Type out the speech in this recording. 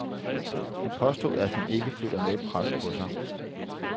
Han påstod, at han ikke føler noget pres på sig.